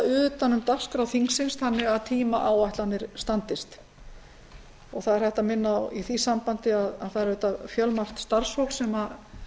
utan um dagskrá þingsins þannig að tímaáætlanir standist það er hægt að minna á í því sambandi að það er auðvitað fjölmargt starfsfólk sem